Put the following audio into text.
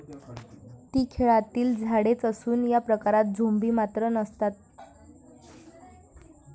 ती खेळातील झाडेच असून या प्रकारात झोंबी मात्र नसतात.